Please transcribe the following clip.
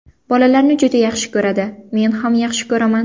Bolalarni juda yaxshi ko‘radi, men ham yaxshi ko‘raman.